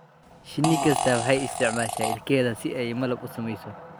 Shinni kasta waxay isticmaashaa ilkaheeda si ay malab u samayso.